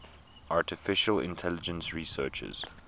artificial intelligence researchers